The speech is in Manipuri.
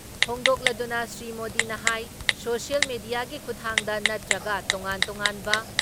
ꯐꯣꯡꯗꯣꯛꯂꯗꯨꯅ ꯁ꯭ꯔꯤ ꯃꯣꯗꯤꯅ ꯍꯥꯏ ꯁꯣꯁꯤꯌꯦꯜ ꯃꯦꯗꯤꯌꯥꯒꯤ ꯈꯨꯊꯥꯡꯗ ꯅꯠꯇ꯭ꯔꯒ ꯇꯣꯉꯥꯟ ꯇꯣꯉꯥꯟꯕ